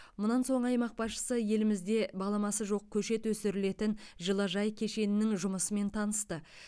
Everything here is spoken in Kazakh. мұнан соң аймақ басшысы елімізде баламасы жоқ көшет өсірілетін жылыжай кешенінің жұмысымен танысты